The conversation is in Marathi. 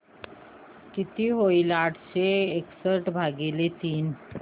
किती होईल आठशे एकसष्ट भागीले तीन सांगा